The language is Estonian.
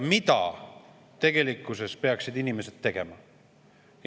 " Mida tegelikkuses peaksid inimesed tegema?